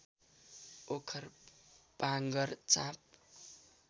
ओखर पाँगर चाँप